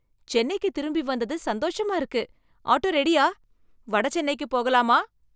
சென்னைக்குத் திரும்பி வந்தது சந்தோஷமா இருக்கு. ஆட்டோ ரெடியா? வட சென்னைக்குப் போகலாமா?